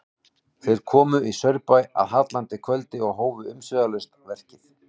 Þeir komu í Saurbæ að hallandi kvöldi og hófu umsvifalaust verkið.